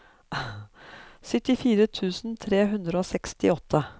syttifire tusen tre hundre og sekstiåtte